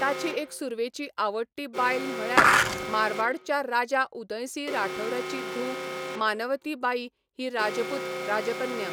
ताची एक सुर्वेची आवडटी बायल म्हळ्यार मारवाडच्या राजा उदयसिंह राठौराची धूव मानवती बाई ही राजपूत राजकन्या.